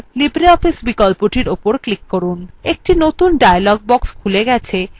একটি নতুন dialog box খুলে গেছে যাতে libreofficeএর বিভিন্ন অংশ দেখা যাচ্ছে